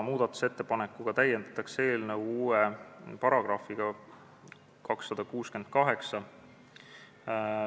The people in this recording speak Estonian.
Muudatusettepanekuga täiendatakse eelnõu uue §-ga 268.